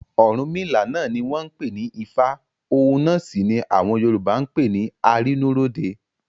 Ọ̀rúnmìlà náà ni wọ́n ń pè ní Ifá òun náà sì ni àwọn Yorùbá ń pè ní Arínúróde.